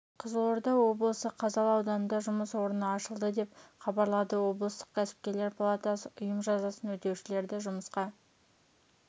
қызылорда облысы қазалы ауданында жұмыс орны ашылды деп хабарлады облыстық кәсіпкерлер палатасы ұйым жазасын өтеушілерді жұмысқа